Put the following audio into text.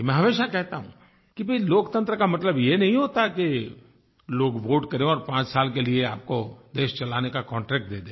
मैं हमेशा कहता हूँ कि भाई लोकतंत्र का मतलब ये नहीं होता कि लोग वोटे करें और पाँच साल के लिए आपको देश चलाने का कॉन्ट्रैक्ट दे दें